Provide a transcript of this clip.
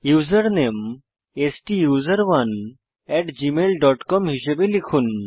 username স্টুসেরনে at Gmail dot com হিসাবে লিখুন